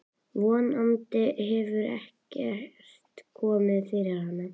Von andi hefur ekkert komið fyrir hana.